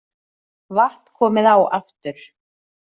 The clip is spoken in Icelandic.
Vatn komið á aftur